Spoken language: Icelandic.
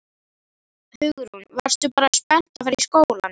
Hugrún: Varstu bara spennt að fara í skólann?